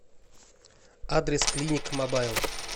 адрес клиник мобайл